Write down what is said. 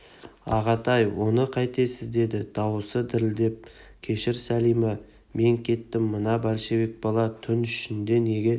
ағатай оны қайтесіз деді дауысы дірілдеп кешір сәлима мен кеттім мына большевик бала түн ішінде неге